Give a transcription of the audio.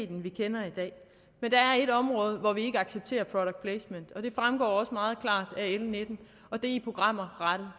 den vi kender i dag men der er et område hvor vi ikke accepterer product placement og det fremgår også meget klart af l nitten og det er i programmer rettet